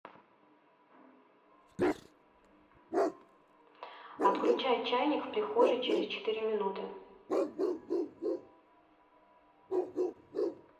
отключай чайник в прихожей через четыре минуты